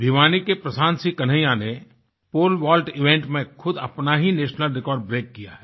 भिवानी के प्रशांत सिंह कन्हैया ने pole vault event में खुद अपना ही नेशनल रिकॉर्ड ब्रेक किया है